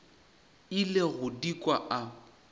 ile go di kwa a